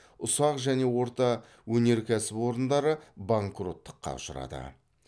ұсақ және орта өнеркәсіп орындары банкроттыққа ұшырады